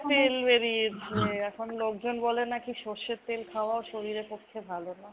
তেল বেরিয়েছে। এখন লোকজন বলে নাকি যে সর্ষের তেল খাওয়া শরীরের পক্ষে ভালো না।